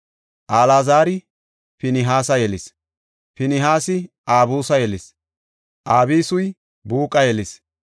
Alaazari Pinihaasa yelis; Pinihaasi Abisu yelis; Abisuy Buuqa yelis;